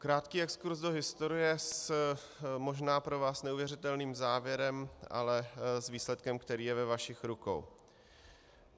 Krátký exkurz do historie s možná pro vás neuvěřitelným závěrem, ale s výsledkem, který je ve vašich rukou.